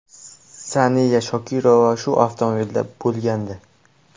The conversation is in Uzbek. Saniya Shokirova shu avtomobilda bo‘lgandi.